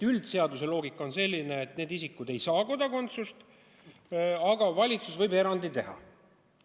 Üldine seaduse loogika on selline, et need isikud ei saa kodakondsust, aga valitsus võib erandi teha.